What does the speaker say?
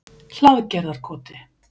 Hlaðgerðarkoti